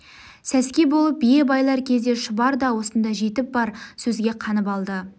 сәске болып бие байлар кезде шұбар да осында жетіп бар сөзге қанып алды